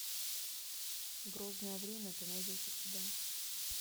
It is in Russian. грозное время ты найдешь у себя